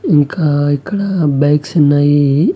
ఇంకా ఇక్కడ బైక్స్ ఉన్నాయి.